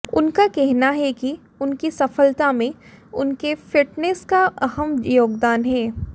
उनका कहना है कि उनकी सफलता में उनके फिटनेस का अहम योगदान है